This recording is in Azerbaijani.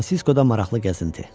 San Fransiskoda maraqlı gəzinti.